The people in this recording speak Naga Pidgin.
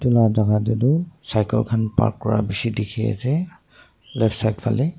edu la jaka tae tu cycle khan park Kura bishi dikhiase left side falae.